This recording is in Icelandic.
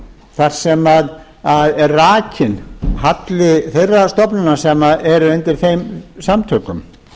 þar sem er rakinn halli þeirrar stofnunar sem er undir þeim samtökum